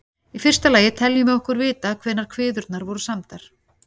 Í fyrsta lagi teljum við okkur vita hvenær kviðurnar voru samdar.